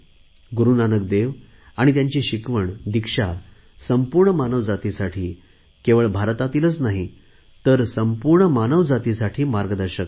गुरु नानक देव आणि त्यांची शिकवणदिक्षा संपूर्ण मानवजातीसाठी केवळ भारतातीलच नाही तर संपूर्ण मानवजातीसाठी मार्गदर्शक आहे